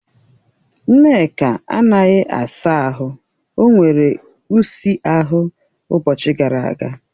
Nneka anaghị asa ahụ, o nwere ụsi ahụ ụbọchị gara aga